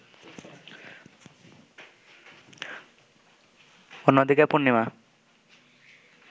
অন্যদিকে, পূর্ণিমা